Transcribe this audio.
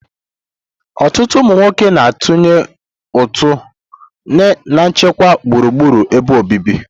Ọtụtụ ụmụ nwoke na-atụnye ụtụ na nchekwa gburugburu ebe obibi.